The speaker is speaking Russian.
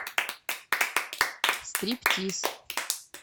стриптиз